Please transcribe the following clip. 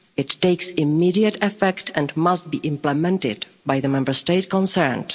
It takes immediate effect and must be implemented by the Member State concerned.